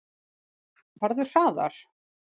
Farðu hraðar.